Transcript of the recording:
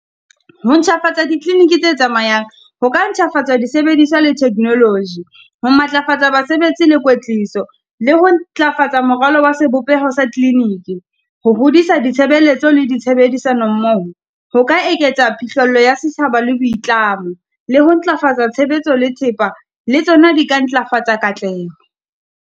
Ho ntjhafatsa dikliniki tse tsamayang, ho ka ntjhafatsa disebediswa le theknoloji, ho matlafatsa basebetsi le kwetliso, le ho ntlafatsa moralo wa sebopeho sa kliniki. Ho hodisa ditshebeletso le di tshebedisano mmoho, ho ka eketsa phihlello ya setjhaba le boitlamo, le ho ntlafatsa tshebetso le thepa, le tsona di ka ntlafatsa katleho.